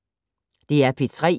DR P3